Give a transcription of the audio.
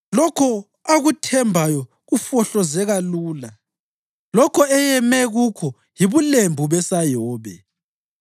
Lokho akuthembayo kufohlozeka lula; lokho eyeme kukho yibulembu besayobe.